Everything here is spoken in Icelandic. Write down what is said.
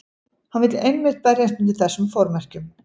Hann vill einmitt berjast undir þessum formerkjum.